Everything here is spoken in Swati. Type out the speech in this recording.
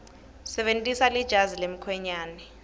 sebentisa lejazi lemkhwenyane